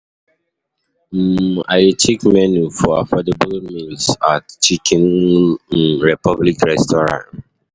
um I dey check menu for affordable meals at Chicken um Republic restaurant. um